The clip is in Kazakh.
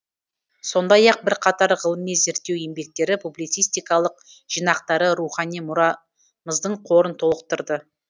сондай ақ бірқатар ғылыми зерттеу еңбектері публицистикалық жинақтары рухани мұрамыздың қорын толықтырды